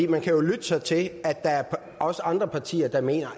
man kan lytte sig til at der er andre partier der mener